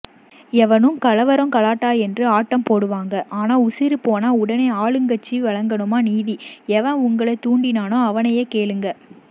எவனும் கலவரம் கலாட்டா என்று ஆட்டம்போடுவாங்க ஆனால் உசிறுபோனால் உடனே ஆளும்கசச்சி வழங்கணுமா நிதி எவன் உங்களை தூண்டினானோ அவனையைகேளுங்க